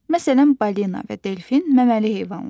Məsələn, balina və delfin məməli heyvanlardır.